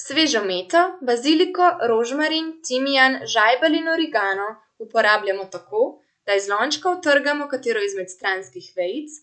Svežo meto, baziliko, rožmarin, timijan, žajbelj in origano uporabljamo tako, da iz lončka utrgamo katero izmed stranskih vejic